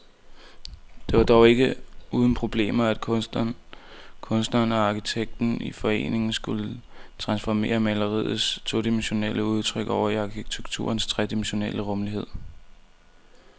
Det var dog ikke uden problemer, når kunstneren og arkitekten i forening skulle transformere maleriets todimensionelle udtryk over i arkitekturens tredimensionelle rumlighed.